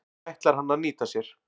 Það ætlar hann að nýta sér.